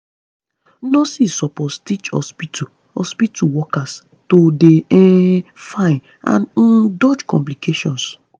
nurses suppose teach hospitu hospitu workers to dey um fine and um dodge complication